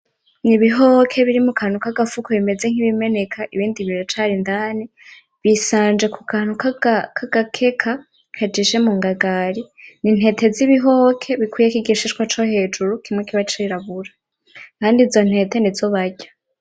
Ni ibihoke muri mu kantu k'agafuko bimeze nkibimeneka, ibindi biracari indani, bisanje ku kantu k'agakeka kajishe mu ngagari. Ni intete z'ibihoke bikuyeko igishishwa co hejuru kimwe kiba cirabura, kandi izo ntete nizo barya.